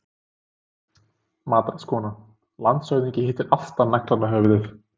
MATRÁÐSKONA: Landshöfðingi hittir alltaf naglann á höfuðið.